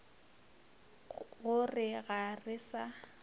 go re ga re sa